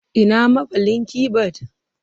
Ina maballin keyboard?